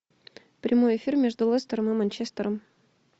прямой эфир между лестером и манчестером